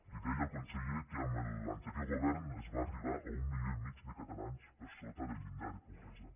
li deia al conseller que amb l’anterior govern es va arribar a un milió i mig de catalans per sota del llindar de pobresa